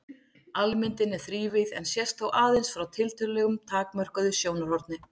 Almyndin er þrívíð en sést þó aðeins frá tiltölulega takmörkuðu sjónarhorni.